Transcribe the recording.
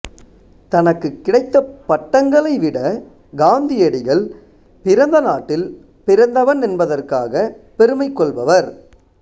தனக்கு கிடைத்த பட்டங்களை விட காந்தியடிகள் பிறந்த நாட்டில் பிறந்தவன் என்பதற்காகப் பெருமை கொள்பவர்